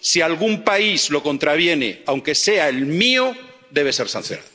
Si algún país lo contraviene, aunque sea el mío, debe ser sancionado.